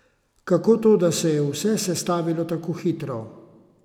Kako to, da se je vse sestavilo tako hitro?